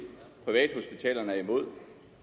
privathospitalerne er imod